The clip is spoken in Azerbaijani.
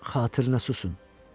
Xatirinə susun.